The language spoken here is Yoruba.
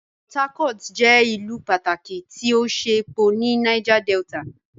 Port Harcourt jẹ ìlú pàtàkì ti o ṣe epo ní Niger Delta.